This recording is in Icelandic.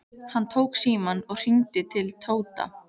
Hann tók símann og hringdi til Tóta.